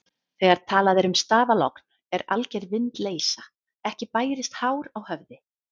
Þegar talað er um stafalogn er alger vindleysa, ekki bærist hár á höfði.